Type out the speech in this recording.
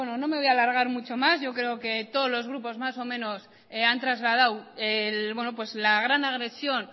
bueno no me voy a alargar mucho más yo creo que todos los grupos más o menos han trasladado la gran agresión